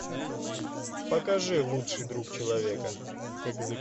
покажи лучший друг человека